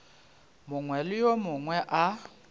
mongwe le yo mongwe a